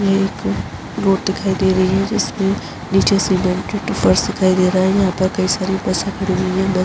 ये एक रोड दिखाई दे रही है जिसमें नीचे सीमेंट की फर्श दिखाई दे रहा है। यहाँ पर कई सारे बसें खड़ी हुई हैं। बस --